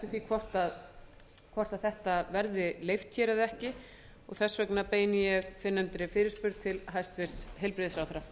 því hvort þetta verði leyft eða ekki og þess vegna beini ég fyrrnefndri fyrirspurn til hæstvirts heilbrigðisráðherra